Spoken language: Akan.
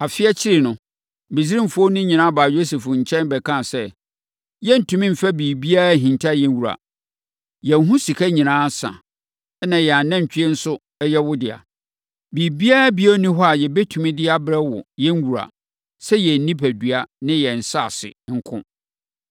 Afe akyiri no, Misraimfoɔ no nyinaa baa Yosef nkyɛn bɛkaa sɛ, “Yɛrentumi mfa biribiara nhinta yɛn wura. Yɛn ho sika nyinaa asa, na yɛn anantwie nso yɛ wo dea. Biribiara bio nni hɔ a yɛbɛtumi de abrɛ wo, yɛn wura, sɛ yɛn nnipadua ne yɛn nsase nko.